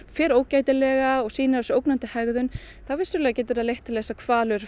fer ógætilega og sýnir á sér ógnandi hegðun þá vissulega getur það leitt til þess að hvalur